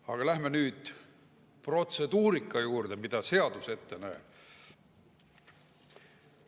Aga läheme nüüd protseduurika juurde, mida seadus ette näeb.